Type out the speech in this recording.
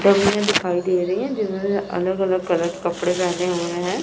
डमियां दिखाई दे रही हैं जिन्होंने अलग अलग कलर के कपड़े पहने हुए हैं।